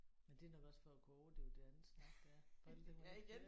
Men det er nok også for at kunne overdøve det andet snak der er for alle dem